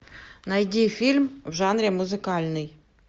найди фильм в жанре музыкальный